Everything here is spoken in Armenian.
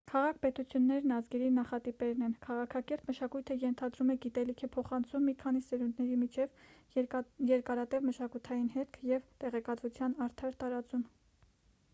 քաղաք-պետություններն ազգերի նախատիպերն են քաղաքակիրթ մշակույթը ենթադրում է գիտելիքի փոխանցում մի քանի սերունդների միջև երկարատև մշակութային հետք և տեղեկատվության արդար տարածում